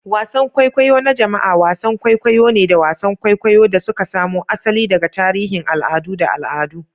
Wasan kwaikwayo na jama'a wasan kwaikwayo ne da wasan kwaikwayo da suka samo asali daga tarihin al'adu da al'adu.